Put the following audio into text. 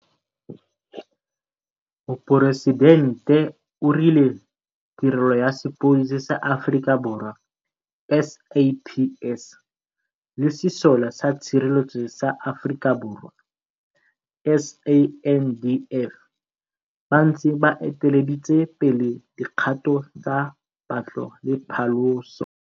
Moporesidente o rile Tirelo tsa Sepodisi sa Aforika Borwa, SAPS, le Sesole sa Tshireletso sa Aforika Borwa, SANDF, ba ntse ba eteleditse pele dikgato tsa patlo le phaloso.